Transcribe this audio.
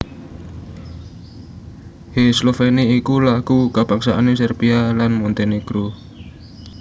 Hej Sloveni iku lagu kabangsané Serbia lan Montenegro